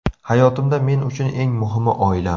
Hayotimda men uchun eng muhimi oilam.